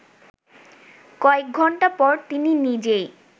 কয়েক ঘণ্টা পর তিনি নিজেই